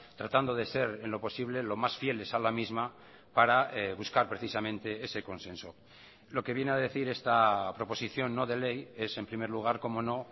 tratando de ser en lo posible lo más fieles a la misma para buscar precisamente ese consenso lo que viene a decir esta proposición no de ley es en primer lugar cómo no